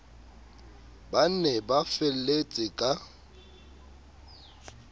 ba ne ba felletse ka